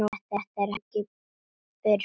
Þetta er ekki fyrir börn.